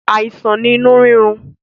Àìsàn ni inu rírun